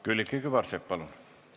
Külliki Kübarsepp, palun!